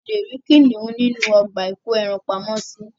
A leè ri kinihun nínú ọgbà ìko ẹran pamo sì